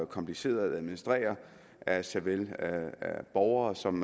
komplicerede at administrere af såvel borgere som